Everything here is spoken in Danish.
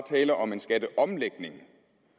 tale om en skatteomlægning